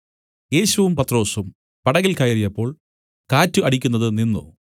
യേശുവും പത്രൊസും പടകിൽ കയറിയപ്പോൾ കാറ്റ് അടിക്കുന്നത് നിന്നു